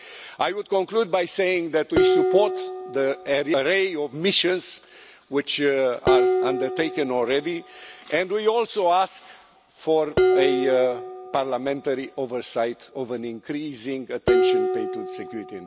I would conclude by saying that we support the array of missions which are undertaken already and we also ask for a parliamentary oversight of an increasing attention paid to security and defence.